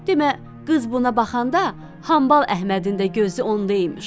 Demə qız buna baxanda Hambal Əhmədin də gözü onda imiş.